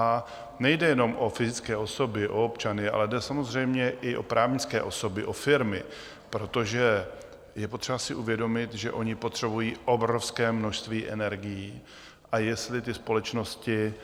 A nejde jenom o fyzické osoby, o občany, ale jde samozřejmě i o právnické osoby, o firmy, protože je potřeba si uvědomit, že oni potřebují obrovské množství energií, a jestli ty společnosti